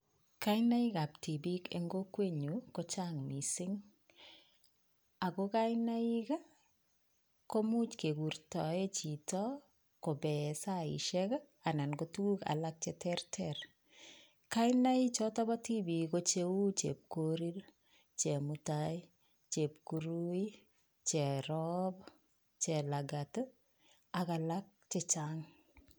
Kainaik ab tipiik eng kokwenyuu ko chang mising ako kainaik komuch kekurtoe chito kopee saishek anan tukuk alak cheterter kainaik choto bo tipiik ko cheu Chepkorir, Chemutai, Chepkurui Cherup, Chelagat ak alak chechang.